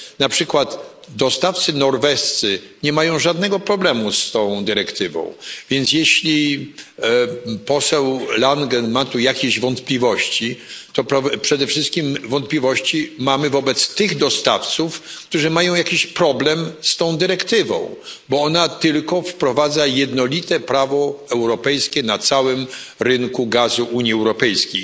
Na przykład dostawcy norwescy nie mają żadnego problemu z tą dyrektywą, więc jeśli poseł Langen ma tu jakieś wątpliwości, to przede wszystkim wątpliwości mamy wobec tych dostawców, którzy mają jakiś problem z tą dyrektywą, bo ona tylko wprowadza jednolite prawo europejskie na całym rynku gazu w Unii Europejskiej.